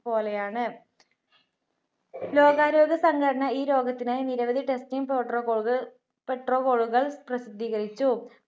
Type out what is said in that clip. പോലെയാണ്. ലോകാരോഗ്യ സംഘടന ഈ രോഗത്തിനായി നിരവധി testing Protocol കൾ Petrocol കൾ പ്രസിദ്ധീകരിച്ചു.